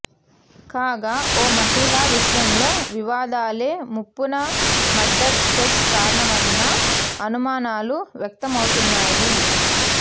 కాగా ఓ మహిళ విషయంలో వివాదాలే ముప్పన మర్డర్ స్కెచ్కు కారణమన్న అనుమానాలు వ్యక్తమవుతున్నాయి